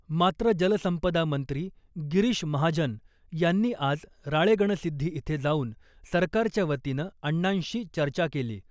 मात्र जलसंपदा मंत्री गिरीश महाजन यांनी आज राळेगणसिद्धी इथे जाऊन सरकारच्या वतीनं अण्णांशी चर्चा केली .